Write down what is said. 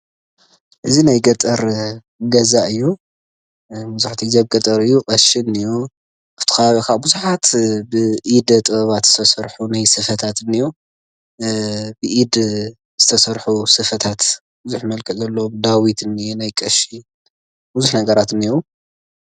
እዚ ናይ ገጠር ገዛ እዩ መብዛሕትኡ ግዜ ኣብ ገጠር እዩ ቀሺ እኒሀው ኣብቲ ከባቢ ከዓ ብዙሓት ብኢደ ጥበታት ዝተሰርሑ ናይ ስፈታት እኒሀው ብኢድ ዝተሰርሑ ስፈታት ብዙሕ መልክዕ ዘለዎም ዳዊት እኒሀ ናይ ቀሺ ብዙሕ ነገራት እኒሀው፡፡